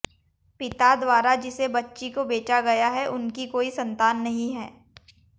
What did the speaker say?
पिता द्वारा जिसे बच्ची को बेचा गया है उनकी कोई संतान नहीं है